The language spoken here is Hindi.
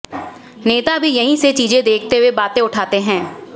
नेता भी यहीं से चीजें देखते हुए बातें उठाते हैं